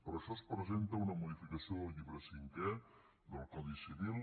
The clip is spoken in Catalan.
per això es presenta una modificació del llibre cinquè del codi civil